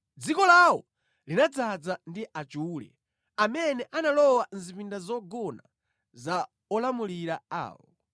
Dziko lawo linadzaza ndi achule amene analowa mʼzipinda zogona za olamulira awo.